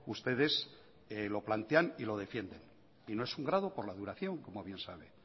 ustedes lo plantean y lo defienden y no es un grado por la duración como bien sabe